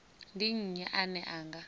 ndi nnyi ane a nga